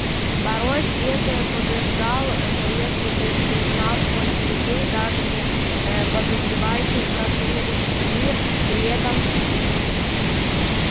порой свет побеждал но если бы ты знал сколько людей даже не подозревающих про сумеречный мир при этом гибли